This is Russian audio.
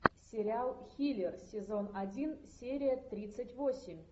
сериал хилер сезон один серия тридцать восемь